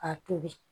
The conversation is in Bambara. A tobi